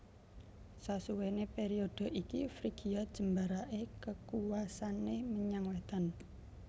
Sasuwene periode iki Frigia jembarake kekuwasane menyang wetan